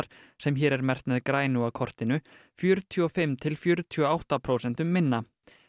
sem hér er merkt með grænu á kortinu fjörutíu og fimm til fjörutíu og átta prósentum minna